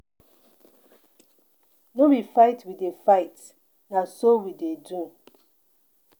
No be fight we dey fight, na so we dey do.